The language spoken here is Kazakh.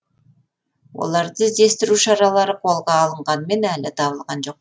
оларды іздестіру шаралары қолға алынғанымен әлі табылған жоқ